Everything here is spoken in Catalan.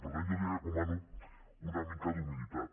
per tant jo li recomano una mica d’humilitat